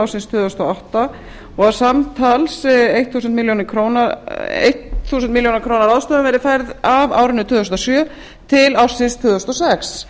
ársins tvö þúsund og átta og að samtals þúsund milljónir króna ráðstöfun verði færðar af árinu tvö þúsund og sjö til ársins tvö þúsund og sex